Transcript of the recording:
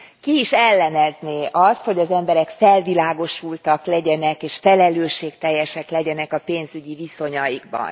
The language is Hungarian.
Ki is ellenezné azt, hogy az emberek felvilágosultak és felelősségteljesek legyenek a pénzügyi viszonyaikban?